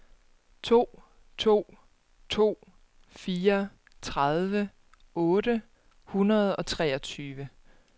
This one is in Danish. to to to fire tredive otte hundrede og treogtyve